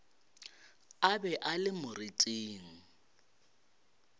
a be a le moriting